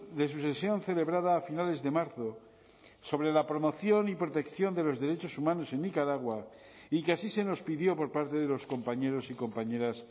de su sesión celebrada a finales de marzo sobre la promoción y protección de los derechos humanos en nicaragua y que así se nos pidió por parte de los compañeros y compañeras